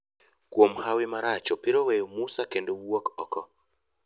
kuom hawi marach opira weyo Musa kendo wuok oko.